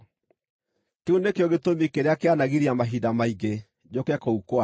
Kĩu nĩkĩo gĩtũmi kĩrĩa kĩanagiria mahinda maingĩ njũke kũu kwanyu.